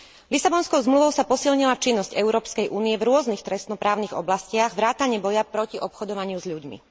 Lisabonskou zmluvou sa posilnila činnosť Európskej únie v rôznych trestnoprávnych oblastiach vrátane boja proti obchodovaniu s ľuďmi.